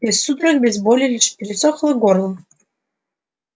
без судорог без боли лишь пересохло горло